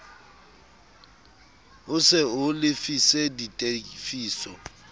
ho se o lefise ditefiso